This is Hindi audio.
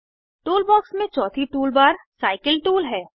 टूलबॉक्स में चौथी टूलबार साइकिल टूल है